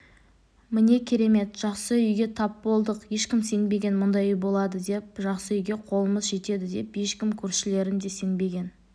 міне керемет жақсы үйге тап болдық ешкім сенбеген мұндай үй болады деп жақсы үйге қолымыз жетеді деп ешкім көршілерім де сенбеген